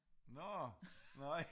Nå nej